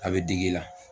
A bɛ digi i la